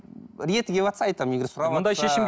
реті келіватса айтамын егер сұраватса